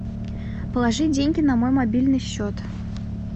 положи деньги на мой мобильный счет